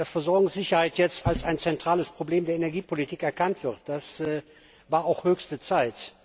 Dass Versorgungssicherheit jetzt als ein zentrales Problem der Energiepolitik erkannt wird, war auch höchste Zeit.